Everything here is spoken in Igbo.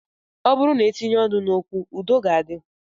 Ọ bụrụ na e tinye ọnụ n'okwu, udo ga-adị